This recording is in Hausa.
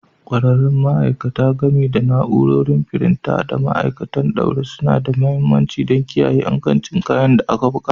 ƙwararrun ma'aikata, gami da na'urori, firinta, da ma'aikatan ɗaure, suna da mahimmanci don kiyaye ingancin kayan da aka buga.